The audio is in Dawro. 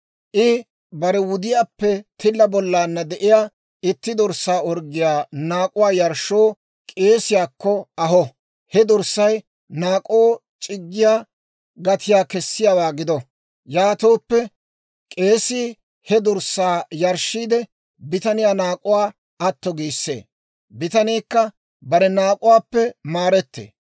I bare wudiyaappe tilla bollaanna de'iyaa itti dorssaa orggiyaa naak'uwaa yarshshoo k'eesiyaakko aho. He dorssay naak'oo c'iggiyaa gatiyaa kessiyaawaa gido; yaatooppe k'eesii he dorssaa yarshshiide, bitaniyaa naak'uwaa atto giissee; bitaniikka bare naak'uwaappe maarettee.